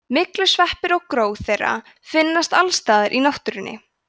myglusveppir og gró þeirra finnast alls staðar í náttúrunni